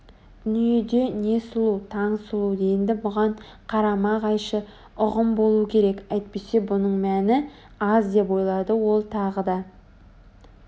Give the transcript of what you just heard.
дүниеде не сұлу таң сұлу енді бұған қарама-қайшы ұғым болу керек әйтпесе мұның мәні аз деп ойлады ол тағы да